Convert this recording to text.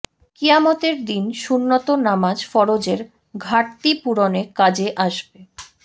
কিয়ামতের দিন সুন্নত নামাজ ফরজের ঘাটতি পূরণে কাজে আসবে